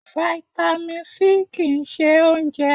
Fáítámì C kì ń ṣe oúnjẹ.